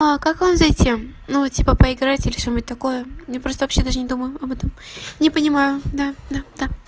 а как вам зайти ну типа поиграть или что-нибудь такое я просто вообще даже не думаю об этом не понимаю да да да